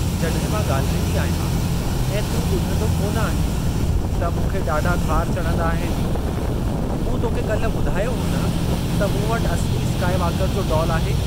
जॾहिं मां ॻाल्हाईंदी आहियां ऐं तूं ॿुधंदो कोन आहीं, त मूंखे ॾाढा ख़ार चढ़ंदा आहिनि। मूं तोखे कल्ह ॿुधायो हो न त मूं वटि असिली स्काईवॉकर जो डोल आहे।